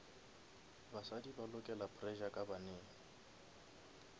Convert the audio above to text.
basadi ba lokela pressure banneng